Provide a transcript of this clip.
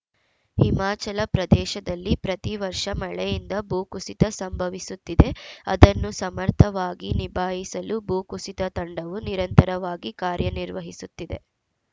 ಹಿಮಾಚಲ ಪ್ರದೇಶದಲ್ಲಿ ಪ್ರತಿವರ್ಷ ಮಳೆಯಿಂದ ಭೂಕುಸಿತ ಸಂಭವಿಸುತ್ತಿದೆ ಅದನ್ನು ಸಮರ್ಥವಾಗಿ ನಿಭಾಯಿಸಲು ಭೂ ಕುಸಿತ ತಂಡವು ನಿರಂತರವಾಗಿ ಕಾರ್ಯನಿರ್ವಹಿಸುತ್ತಿದೆ